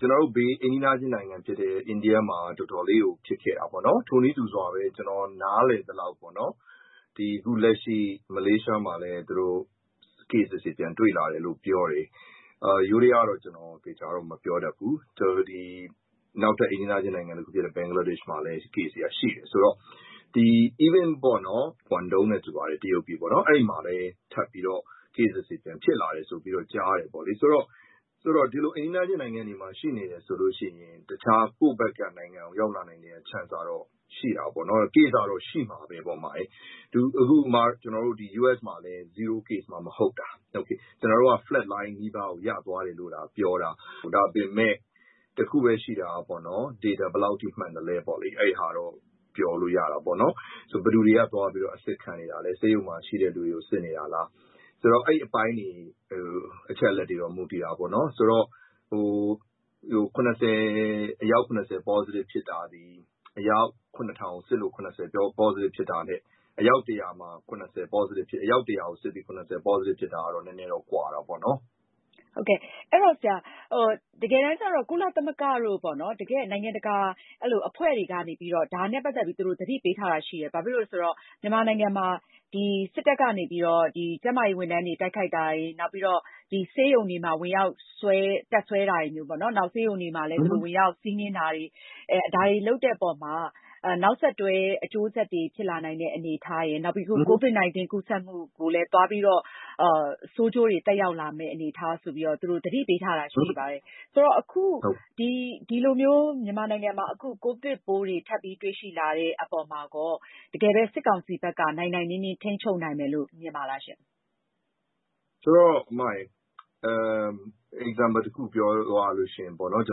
ကျနော်တို့ဘေး အိမ်နီးနားချင်းနိုင်ငံဖြစ်တဲ့ အိန္ဒိယမှာတော့ တော်တော်ဖြစ်ခဲ့တာပေါ့။ ထိုနည်းတူစွာပဲ ကျနော်နားလည်သလောက် မလေးရှားမှာလည်း Case အသစ်တွေ ပြန်တွေ့လာတယ်လို့ပြောတယ်။ ယိုးဒယားတော့ ကျနော်သေချာတော့ မပြောတတ်ဘူး။ နောက်ထပ်အိမ်နီနားချင်းနိုင်ငံတခုဖြစ်တဲ့ ဘင်္ဂလားဒေ့ရှ်မှာလည်း Case တွေက ရှိနေတယ်။ အဲဒီတော့ တရုတ်ပြည် ကွန်တုံ မှာတောင်မှ Cases တွေ ပြန်ဖြစ်လာတယ်ကြားတယ်။ ဆိုတော့ ဒီလို အိမ်နီးနားချင်းနိုင်ငံတွေမှ ရှိနေတယ်ဆိုလို့ရှိရင် ကိုယ့်ဘက်ကို ရောက်လာနိုင်စရာ Chance ကရှိမှာပဲ။ Case က ရှိမှာပဲပေါ့နော်။ အခု U.S မှာလည်း Zero Case မှ မဟုတ်တာ။ ကျနော်တို့က Flat Mind နီးပါးကို ရသွားတယ်လို့သာပြောတာ။ ဒါပေမယ့် တခုပဲရှိတာက Data ဘယ်လောက်ထိ မှန်သလဲပေါ့။ အဲဒီဟာတော့ ပြောလို့ရတာပေါ့လေ။ ဆိုတော့ ဘယ်သူတွေက သွားပြီး အစစ်ခံတာလဲ။ ဆေးရုံမှာရှိတဲ့လူတွေကို စစ်နေတာလား။ အဲဒီအပိုင်းတွေ၊ အချက်အလက်တွေပေါ်မူတည်တာပေါ့လေ။ အယောက် ၇၀ ပေါ့စတစ်ဖြစ်တာသည် အယောက် ၇၀၀၀ စစ်လို့ ၇၀ ပေါ့စတစ်ဖြစ်တာထက် အယောက် ၁၀၀ ကိုစစ်ပြီး ၇၀ ပေါ့စတစ်ဖြစ်တာတော့ နည်းနည်းတော့ ကွာတာပေါ့နော်။ တကယ်တမ်းကျတော့ ကုလသမဂ္ဂတို့လို နိုင်ငံတကာအဖွဲ့တွေက သတိပေးထားတာရှိတယ်။ မြန်မာနိုင်ငံမှာ စစ်တပ်ကနေပြီးတော့ ကျန်းမာရေးဝန်ထမ်းတွေကို တိုက်ခိုက်တာတွေ၊ နောက်ပြီးတော့ ဆေးရုံတွေမှာ ဝင်ရောက်ပြီး တပ်စွဲတာတွေမျိူးပေါ့၊ နောက်ပြီး ဆေးရုံတွေကို ဝင်ရောက်စီးနင်းတာတွေ၊ ဒါတွေလုပ်တဲ့အပေါ်မှာ နောက်ဆက်တွဲ အကျိုးဆက်တွေ ဖြစ်လာနိုင်တဲ့အနေအထားရယ်။ နောက်ပြီး Covid-19 ကူးစပ်မှုကိုလည်း ဆိုးကျိုးတွေ သက်ရောက်လာမယ့် အနေအထားတွေကိုလည်း သူတို့သတိပေးထားတာတွေရှိပါတယ်။ ဆိုတော့ အခု မြန်မာနိုင်ငံမှာ ကိုဗစ်ပိုးတွေထက်ပြီးတွေ့ရှိလာတဲ့ အပေါ်မှာရော တကယ်ပဲ စစ်ကောင်စီဘက်က နိုင်နိုင်နင်းနင်းထိန်းချုပ်နိုင်မယ်လို့မြင်ပါလားရှင့်။ ဆိုတော့ အမရယ်။ Example တခုပြောရလို့ရှိရင်တော့ ကျ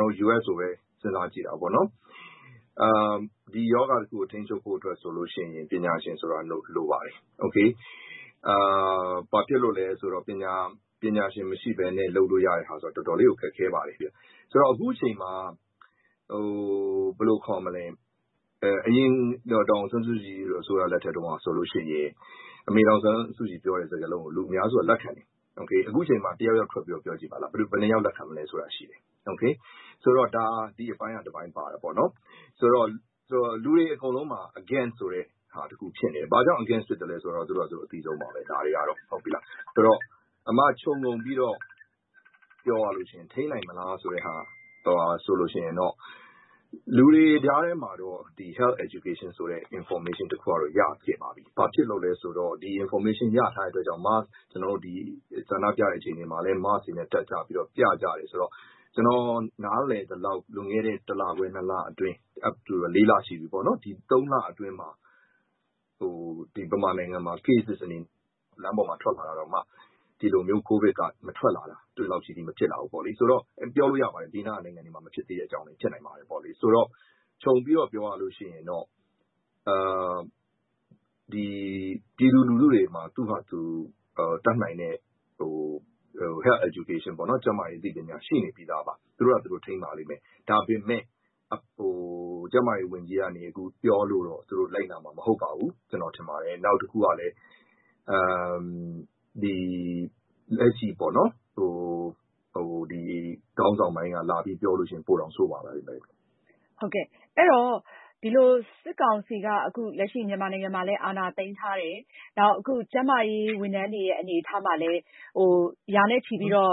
နော်တို့U.S ကိုပဲစဉ်းစားကြည့်တာပေါ့နော်။ ဒီရောဂါတခုကို ထိန်းချုပ်ဖို့ဆိုလို့ရှိရင်တော့ ပညာရှင်ဆိုတာ လိုပါတယ်။ ဘာဖြစ်လို့လဲဆိုတော့ ပညာရှင်မရှိပဲလုပ်ဖို့တော်တော်လေးကို ခတ်ခဲပါတယ်။ အရင်ဒေါ်အောင်ဆန်းစုကြည်အစိုးရလက်ထက်တုန်းကဆိုရင် အမေ ဒေါ်အောင်ဆန်းစုကြည်ပြောတဲ့ စကားဆိုရင် ပြည်သူအများစုက လက်ခံတယ်။ အခုချိန်မှာ တယောက်ယောက်ထွက်ပြီးပြောကြည့်ပါလား။ ဘယ်နှစ်ယောက်လက်ခံမလဲ။ ဒီအပိုင်းက တပိုင်းပါတာပေါ့နော်။ ဆိုတော့ လူတွေအကုန်လုံးမှာ against ဆိုတဲ့ ဟာတခုဖြစ်နေတယ်။ ဘာကြောင့် against ဖြစ်သလဲဆိုရင် သူတို့ဟာသူတို့အသိဆုံးပေါ့။ ခြုံငုံပြီးတော့ ပြောရလို့ရှိရင် ထိန်းနိုင်မလားဆိုတော့ လူတွေကြားထဲမှာတော့ Health Education ဆိုတဲ့ information တခုတော့ ရခဲ့ပါပြီ။ ဘာဖြစ်လို့လဲဆိုတော့ ဒီ Information ရထားတဲ့ အတွက်ကြောင့် ဆန္ဒပြတဲ့အချိန်မှာလည်း Mask တွေကို တပ်ထားပြီးတော့ ပြကြတယ်ဆိုတော့ ကျနော်နားလည်သလောက် လွန်ခဲ့တဲ့ သုံးလအတွင်းမှာ မြန်မာနိုင်ငံမှာ လူတွေလမ်းပေါ်ထွက်လာကြတာတောင်မှ ကိုဗစ် Cases က မထွက်လာတာဆိုတော့ ပြောလို့ရပါတယ်။ ဘေးနိုင်ငံတွေလို မဖြစ်လာတာ။ ခြုံပြီးတော့ ပြောရရင်တော့ ပြည်သူလူထုတွေမှာ Health Education က ရှိနေပြီးသားပါ။ သူတို့ဖာသာသူတို့ထိန်းးပါလိမ့်မယ်။ ဒါပေမယ့် ကျန်းမာရေးဝန်ကြီးက ပြောလို့တော့ သူတို့လိုက်နာမှာ မဟုတ်ပါဘူး။ ကျနော်ထင်ပါတယ် နောက်တခုကလည်း လက်ရှိခေါင်းဆောင်ပိုင်းက လာပြီးပြောရင် ပိုတောင်ဆိုးပါမယ်။ ဟုတ်ကဲ့။ အဲဒီတော့ လက်ရှိစစ်ကောင်စီက မြန်မာနိုင်ငံမှာ အာဏာသိမ်းထားတယ်၊ ကျန်းမာရေးဝန်ထမ်းတွေဖြစ်တဲ့ ဆရာဝန်တွေကိုလည်း ရာနဲ့ချီပြီးတော့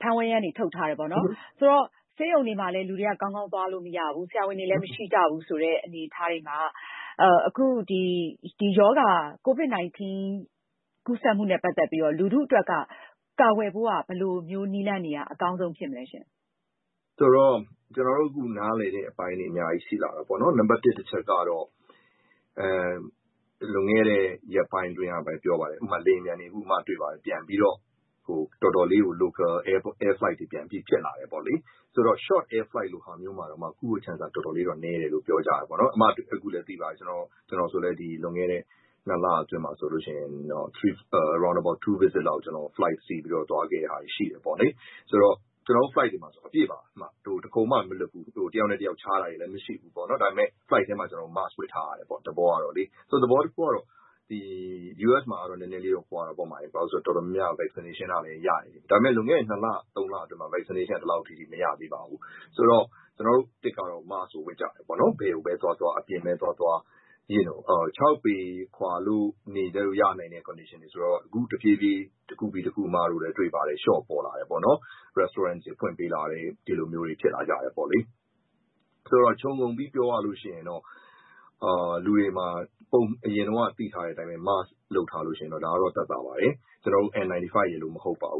ဖမ်းဝရမ်းတွေထုတ်ထားတယ်။ ဆေးရုံတွေမှာလည်း လူတွေက ကောင်းသွားလို့မရဘူး။ ဆရာဝန်တွေက မရှိကြဘူးဆိုတော့ Covid-19 ကို ကာကွယ်ဖို့က ဘယ်လိုမျိူးနည်းလမ်းတွေက အကောင်းဆုံးဖြစ်မလဲရှင့်။ ကျနော်တို့အခုလိုမျိူး နားလည်တဲ့ အပိုင်းတွေအများကြီးရှိလာတယ်ပေါ့နော်။ နံပါတ်တစ် တချက်ကတော့ လွန်ခဲ့တဲ့ ရက်ပိုင်းအတွင်းက ပြောပါတယ်။ ဥပမာ လေယာဉ်ပျံတွေ အခုမှ ပြန်ပြီးတော့ Local Air Flight တွေ တော်တော် ဖြစ်လာတယ်ပေါ့လေ။ ဆိုတော့ Short Air Flight တွေမှာတောင်မှ ကူးဖို့ Chance ဟာ တော်တော်လေးတော့ နည်းတယ်ဆိုပြီးပြောကြတယ်။ ကျနော်ဆိုလည်း လွန်ခဲ့တဲ့ ၂ လအတွင်းက short visit ၂ ခေါက်လောက် လေယာဉ်စီးပြီး သွားခဲ့တာတွေရှိတယ်ပေါ့နော်။ ကျနော်တို့flight မှာ အပြည့်ပဲ။ တခုံမှမလွတ်ဘူး။ တယောက်နဲ့တယောက်ခြားတာတွေမရှိဘူး။ ဒါပေမယ့် flight ထဲမှာ ကျနော်တို့mask ဝတ်ထားရတယ်ပေါ့။ U.S မှာကတော့ နည်းနည်းလေးတော့ကွာတာပေါ့။ တော်တော်များများဟာ vaccination ကရထားပြီးသားဆိုတော့။ ဒါပေမယ့် လွန်ခဲ့တဲ့ နှစ်လ၊ သုံးလက vaccination က ဒီလောက်ထိမရသေးပါဘူး။ ဆိုတော့ ကျနော်တို့Mask ကို ဝတ်ကြတယ်ပေါ့။ ဘယ်ကိုပဲသွားသွား၊ အပြင်ပဲ သွားသွား၊ ခြောက်ပေခွာရတဲ့ အခြေအနေကနေ အခုတဖြည်းဖြည်းလျှော့လာတယ်။ အမတို့လည်းတွေ့ပါတယ်။ Restaurant တွေ ဖွင့်ပေးလာတယ်။ ခြုံငုံပြီးပြောရလို့ရှိရင်တော့ အရင်တုန်းကသိထားတဲ့အတိုင်းပဲ Mask တပ်ထားရင်တော့ သက်သာပါတယ်။ ကျနော်တို့M-95 ရယ်လို့မဟုတ်ပါဘူ